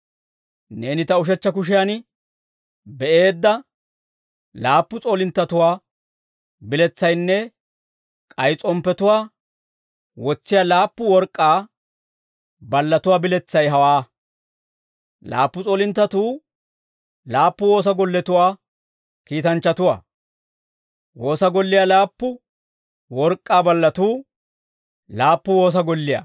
Neeni ta ushechcha kushiyan be'eedda laappu s'oolinttatuwaa biletsaynne k'ay s'omppatuwaa wotsiyaa laappu work'k'aa ballatuwaa biletsay hawaa; laappu s'oolinttatuu laappu Woosa Golletuwaa kiitanchchatuwaa; woosa golliyaa laappu work'k'aa ballatuu laappu woosa golliyaa.»